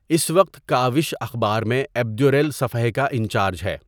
اس وقت کاوش اخبار میں ايڊيوريل صفحے کا انچارج ہے۔